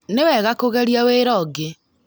Nĩ wega kũgeria wĩra ũngĩ